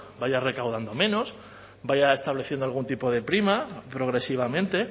vaya recaudando menos vaya estableciendo algún tipo de prima progresivamente